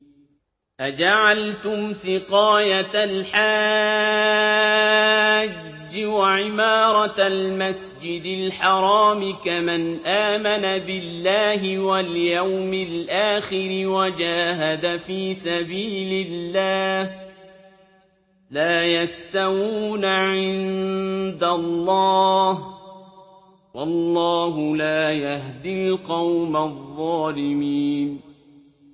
۞ أَجَعَلْتُمْ سِقَايَةَ الْحَاجِّ وَعِمَارَةَ الْمَسْجِدِ الْحَرَامِ كَمَنْ آمَنَ بِاللَّهِ وَالْيَوْمِ الْآخِرِ وَجَاهَدَ فِي سَبِيلِ اللَّهِ ۚ لَا يَسْتَوُونَ عِندَ اللَّهِ ۗ وَاللَّهُ لَا يَهْدِي الْقَوْمَ الظَّالِمِينَ